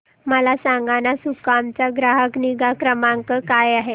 मला सांगाना सुकाम चा ग्राहक निगा क्रमांक काय आहे